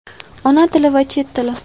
Ona tili va Chet tili.